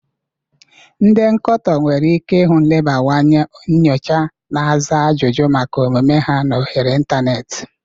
Ndi nkoto nwere ike ihu nlebawanye nyocha na aza ajụjụ maka omume ha na oghere ịntanetị.